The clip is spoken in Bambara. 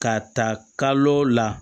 K'a ta kalo la